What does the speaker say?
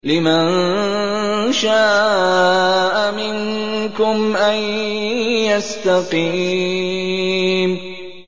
لِمَن شَاءَ مِنكُمْ أَن يَسْتَقِيمَ